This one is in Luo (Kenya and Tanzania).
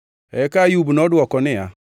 Eka Ayub nodwoko niya,